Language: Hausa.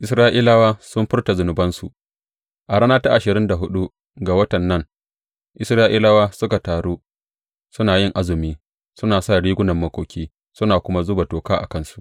Isra’ilawa sun furta zunubansu A rana ta ashirin da huɗu ga watan nan, Isra’ilawa suka taru, suna yin azumi, suna sa rigunan makoki, suna kuma zuba toka a kansu.